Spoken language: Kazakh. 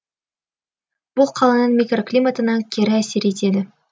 бұл қаланың микроклиматына кері әсер етеді